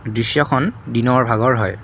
দৃশ্যখন দিনৰ ভাগৰ হয়।